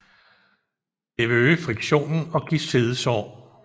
Det vil øge friktionen og give siddesår